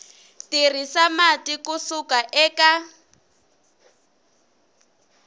tirhisa mati ku suka eka